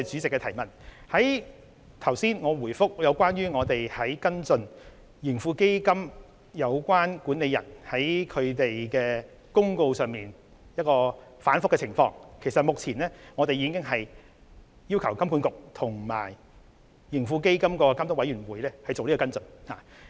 我剛才答覆有關跟進盈富基金管理人在通告內容上出現反覆的補充質詢時已指出，我們已經要求金管局及盈富基金監督委員會作出跟進。